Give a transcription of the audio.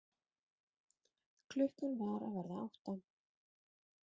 Klukkan var að verða átta.